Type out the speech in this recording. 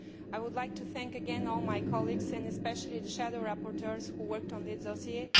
I would like to thank again all my colleagues, and especially the shadow rapporteurs, who worked on this dossier.